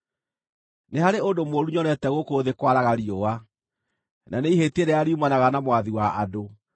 Nĩ harĩ ũndũ mũũru nyonete gũkũ thĩ kwaraga riũa, na nĩ ihĩtia rĩrĩa riumanaga na mwathi wa andũ: